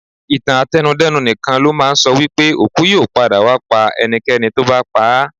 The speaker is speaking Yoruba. Ìtàn àtẹnu-dẹ́nu nìkan ló máa ń sọ wípé òkú yóò padà wá pa ẹnikẹ́ni tó bá pa á.